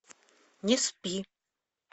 не спи